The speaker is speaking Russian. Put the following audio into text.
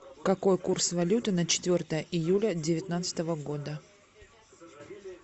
какой курс валюты на четвертое июля девятнадцатого года